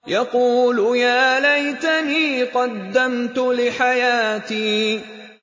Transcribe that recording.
يَقُولُ يَا لَيْتَنِي قَدَّمْتُ لِحَيَاتِي